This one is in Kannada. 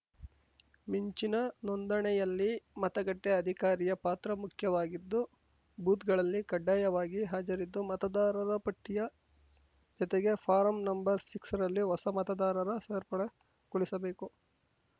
ಮಿಂಚಿನ ನೋಂದಣೆಯಲ್ಲಿ ಮತಗಟ್ಟೆಅಧಿಕಾರಿಯ ಪಾತ್ರ ಮುಖ್ಯವಾಗಿದ್ದು ಭೂತ್‌ಗಳಲ್ಲಿ ಕಡ್ಡಾಯವಾಗಿ ಹಾಜರಿದ್ದು ಮತದಾರರ ಪಟ್ಟಿಯ ಜತೆಗೆ ಫಾರಂ ನಂಬರ್ಆರರಲ್ಲಿ ಹೊಸ ಮತದಾರರ ಸೇರ್ಪಡೆಗೊಳಿಸಬೇಕು